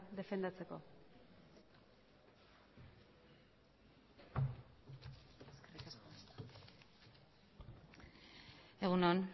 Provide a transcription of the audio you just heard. defendatzeko egun on